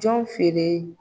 Jɔn feere.